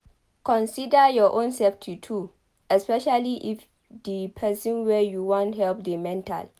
Consider your own safety too especially if di person wey you wan help dey mental